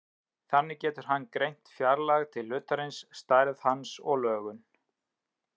Þannig getur hann greint fjarlægð til hlutarins, stærð hans og lögun.